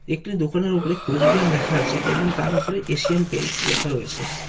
একটি দোকানের উপরে কোচবিহার লেখা আছে এবং তার উপরে এশিয়ান পেইন্টস লেখা রয়েছে।